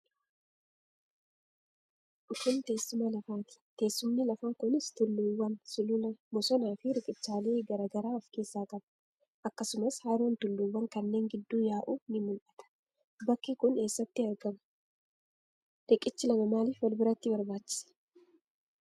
Kun teessuma lafaa ti. Teessumni lafaa kunis tulluuwwan, sulula, bosonaa fi riqichaalee garaagaraa of keessaa qaba. Akkasumas haroon tulluuwwan kanneen gidduu yaa'u ni mul'atu. Bakki kun eessatti argama? Riqichi lama maaliif wal biratti barbaachise?